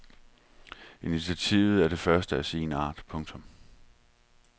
Initiativet er det første af sin art. punktum